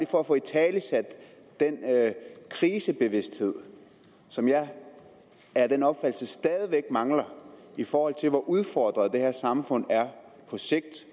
for at få italesat den krisebevidsthed som jeg er af den opfattelse stadig væk mangler i forhold til hvor udfordret det her samfund er på sigt